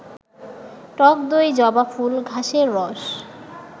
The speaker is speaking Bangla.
টক দই, জবাফুল, ঘাসের রস